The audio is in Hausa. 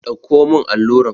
Ɗauko mun alluran!